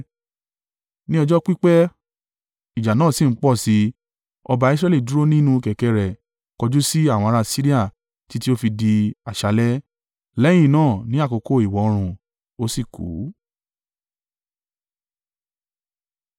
Ní ọjọ́ pípẹ́, ìjà náà sì ń pọ̀ sí i, ọba Israẹli dúró nínú kẹ̀kẹ́ rẹ̀ kọjú sí àwọn ará Siria títí ó fi di àṣálẹ́. Lẹ́yìn náà ní àkókò ìwọ oòrùn, ó sì kú.